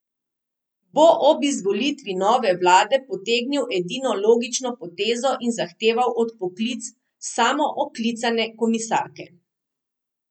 Bo ob izvolitvi nove vlade potegnil edino logično potezo in zahteval odpoklic samooklicane komisarke?